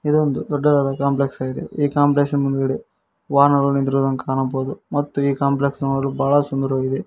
ಇದೊಂದು ದೊಡ್ಡದಾದ ಕಾಂಪ್ಲೆಕ್ಸ್ ಆಗಿದೆ ಈ ಕಾಂಪ್ಲೆಕ್ಸ್ ನ ಮುಂದುಗಡೆ ವಾಹನಗಳು ನಿಂತಿರುವುದನ್ನು ಕಾಣಬಹುದು ಮತ್ತೆ ಈ ಕಾಂಪ್ಲೆಕ್ಸ್ ನೋಡಲು ಬಹಳ ಸುಂದರವಾಗಿದೆ.